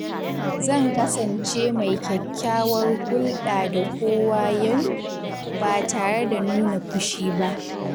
Zan kasance mai kyakkyawar hulɗa da kowa yau, ba tare da nuna fushi ba.